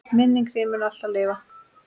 Minning þín mun alltaf lifa.